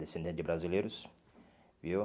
Descendente de brasileiros, viu?